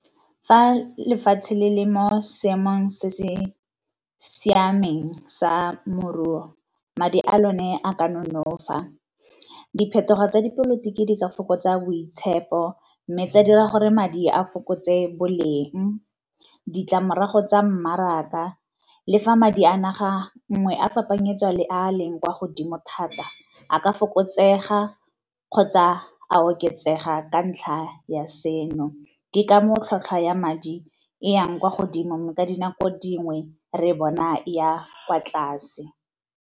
Fa lefatshe le le mo seemong se se siameng sa moruo, madi a lone a ka nonofa. Diphetogo tsa dipolotiki di ka fokotsa boitshepo, mme tsa dira gore madi a fokotse boleng, ditlamorago tsa mmaraka le fa madi a naga nngwe a fapanyetswa le a leng kwa godimo thata a ka fokotsega kgotsa a oketsega ka ntlha ya seno. Ke ka moo tlhwatlhwa ya madi e yang kwa godimo mme ka dinako dingwe re bona ya kwa tlase.